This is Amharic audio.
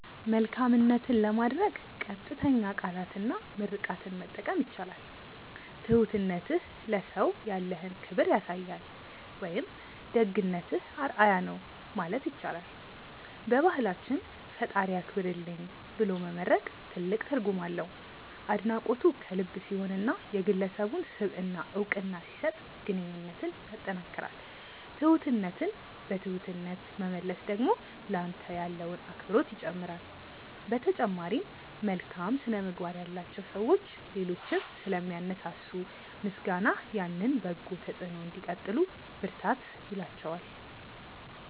መልካምነትን ለማድነቅ ቀጥተኛ ቃላትና ምርቃትን መጠቀም ይቻላል። "ትሁትነትህ ለሰው ያለህን ክብር ያሳያል" ወይም "ደግነትህ አርአያ ነው" ማለት ይቻላል። በባህላችን "ፈጣሪ ያክብርልኝ" ብሎ መመርቅ ትልቅ ትርጉም አለው። አድናቆቱ ከልብ ሲሆንና የግለሰቡን ስብዕና እውቅና ሲሰጥ ግንኙነትን ያጠናክራል። ትሁትነትን በትሁትነት መመለስ ደግሞ ለአንተ ያለውን አክብሮት ይጨምራል። በተጨማሪም፣ መልካም ስነ-ምግባር ያላቸው ሰዎች ሌሎችን ስለሚያነሳሱ፣ ምስጋናህ ያንን በጎ ተጽዕኖ እንዲቀጥሉ ብርታት ይላቸዋል።